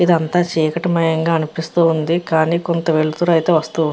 ఇదంతా చీకటి మయంగా అనిపిస్తూ ఉంది. కానీ కొంత వెలుతురు అయితే వస్తువు ఉన్న --